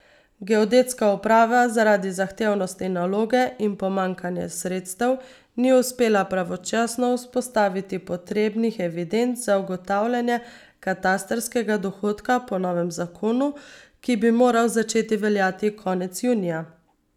Geodetska uprava zaradi zahtevnosti naloge in pomanjkanja sredstev ni uspela pravočasno vzpostaviti potrebnih evidenc za ugotavljanje katastrskega dohodka po novem zakonu, ki bi moral začeti veljati konec junija.